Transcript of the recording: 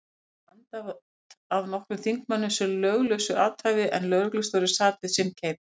Var þessu andæft af nokkrum þingmönnum sem löglausu athæfi, en lögreglustjóri sat við sinn keip.